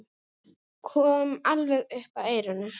Kom alveg upp að eyranu.